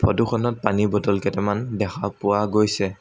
Photo খনত পানী bottle কেইটামান দেখা পোৱা গৈছে।